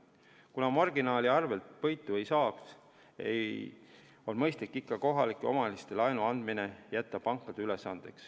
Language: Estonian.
Kuna marginaali arvel võitu ei saaks, on mõistlik jätta kohalikele omavalitsustele laenu andmine pankade ülesandeks.